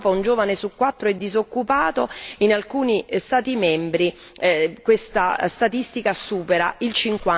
In Europa un giovane su quattro è disoccupato e in alcuni Stati membri questa percentuale supera il